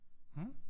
Mhm?